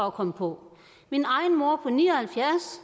at komme på min egen mor på ni og halvfjerds